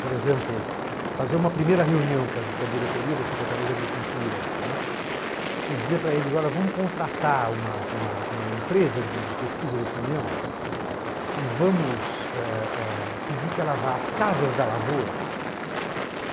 Por exemplo, fazer uma primeira reunião com a diretoria da Secretaria da Agricultura, né, e dizer para eles, olha, vamos contratar uma uma uma empresa de pesquisa de opinião, né, e vamos é... é... pedir que ela vá às casas da Lavoura.